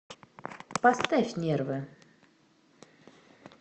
поставь нервы